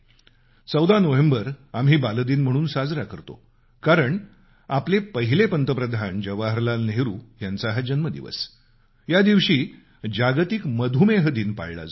14 November आम्ही बालदिन म्हणून साजरा करतो कारण हा प्रथम प्रधानमंत्री जवाहरलाल नेहरू यांचा हा जन्मदिवसया दिवशी जागतिक मधुमेह दिन पाळला जातो